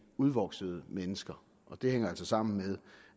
udvoksede mennesker og det hænger altså sammen med